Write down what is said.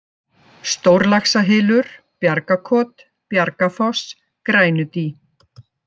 Stórlaxahylur, Bjargakot, Bjargafoss, Grænudý